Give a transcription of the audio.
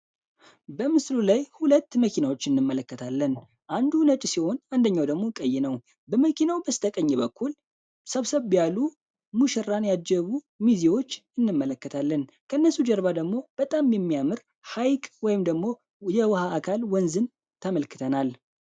በምስሉ ላይ ሁለት መኪናዎች እንመለከታለን አንዱ ነጭ ሲሆን አንደኛው ደግሞ ቀይ ነው። በመኪናው በስተቀኝ በኩል ሰብሰብ ያሉ ሙሽራን ያጀቡ ሚዜዎች እንመለከታለን ከነሱ ጀርባ ደግሞ በጣም የሚያምር ሃይቅ ወይም ደግሞ የውሀ አካልን ወንዝ ተመልክተናል።